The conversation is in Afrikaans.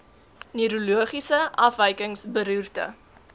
neurologiese afwykings beroerte